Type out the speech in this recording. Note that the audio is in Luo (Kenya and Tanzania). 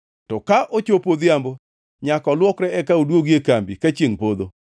To ka ochopo odhiambo nyaka olwokre eka oduogi e kambi ka chiengʼ podho.